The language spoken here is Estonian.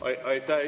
Aitäh!